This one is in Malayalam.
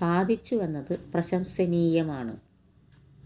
സാധിച്ചുവെന്നത് പ്രശംസനീയമാണ്